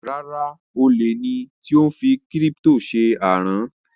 Rárá, olè ni tí ó fi kírípítò ṣe àrán